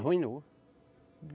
Arruinou.